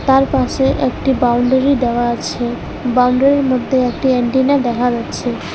তার পাশে একটি বাউন্ডারি দেওয়া আছে বাউন্ডারির মধ্যে একটি এন্টিনার দেখা যাচ্ছে।